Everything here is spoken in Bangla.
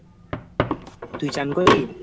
তুই চান করলি?